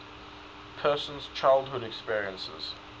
person's childhood experiences